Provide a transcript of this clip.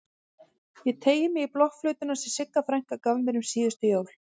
Ég teygi mig í blokkflautuna sem Sigga frænka gaf mér um síðustu jól.